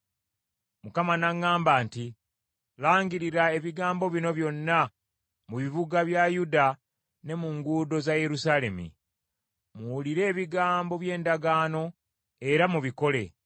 Mukama n’aŋŋamba nti, “Langirira ebigambo bino byonna mu bibuga bya Yuda ne mu nguudo za Yerusaalemi. ‘Muwulire ebigambo by’endagaano era mubikole.